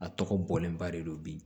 A tɔgɔ bɔlen ba de don bi